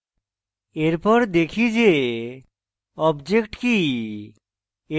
এরপর দেখি যে object কি